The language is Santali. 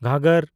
ᱜᱷᱚᱜᱽᱜᱚᱨ